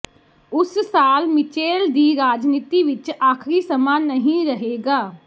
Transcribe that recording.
ਉਸ ਸਾਲ ਮਿਚੇਲ ਦੀ ਰਾਜਨੀਤੀ ਵਿਚ ਆਖ਼ਰੀ ਸਮਾਂ ਨਹੀਂ ਰਹੇਗਾ